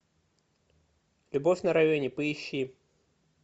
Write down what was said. любовь на районе поищи